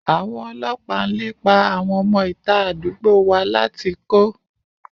Àwọn ọlọ́pàá ń lépa àwọn ọmọ ìta àdúgbò wa láti kó